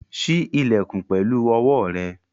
Ṣí ilẹ̀kùn pẹ̀lú owó rẹ̀!